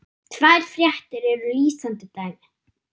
Tvær fréttir eru lýsandi dæmi.